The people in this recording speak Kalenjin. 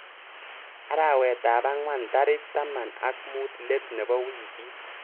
Arawetap angwan tarik taman ak mut let nebo wikit.